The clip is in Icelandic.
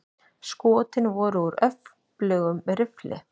Skotin voru úr öflugum riffli.